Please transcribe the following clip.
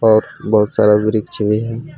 और बहुत सारा वृक्ष भी